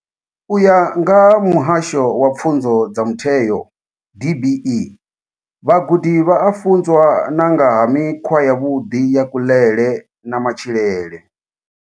U ya nga vha Muhasho wa Pfunzo dza Mutheo DBE, vhagudi vha a funzwa na nga ha mikhwa yavhuḓi ya kuḽele na matshilele.